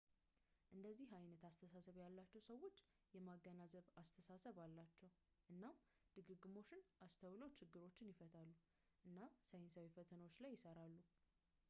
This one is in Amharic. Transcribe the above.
እንደዚህ ዓይነት አስተሳሰብ ያላቸው ሰዎች የማገናዘብ አስተሳሰብ አላቸው እናም ድግግሞሾችን አስተውለው ችግሮችን ይፈታሉ እና ሳይንሳዊ ፈተናዎች ላይ ይሠራሉ